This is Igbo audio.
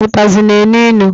Ụtazị na-enu ilu.